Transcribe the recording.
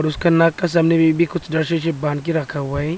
और उसका नाक का सामने में भी कुछ रस्सी से बांध के रखा हुआ है।